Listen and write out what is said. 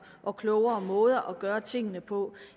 og klogere måder at gøre tingene på